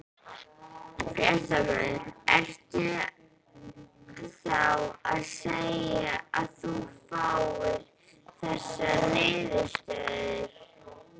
Fréttamaður: Ertu þá að segja að þú fagnir þessari niðurstöðu?